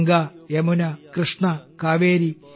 Ganga Yamuna Krishna Kaveri